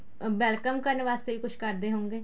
welcome ਕਰਨ ਵਾਸਤੇ ਵੀ ਕੁੱਛ ਕਰਦੇ ਹੋਵੇਗੇ